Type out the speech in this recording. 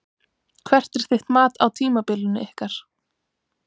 Hvert er þitt mat á tímabilinu ykkar?